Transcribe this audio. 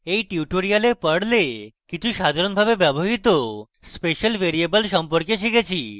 in tutorial আমরা perl কিছু সাধারণভাবে ব্যবহৃত special ভ্যারিয়েবল সম্পর্কে শিখেছি